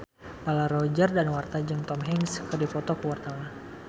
Roger Danuarta jeung Tom Hanks keur dipoto ku wartawan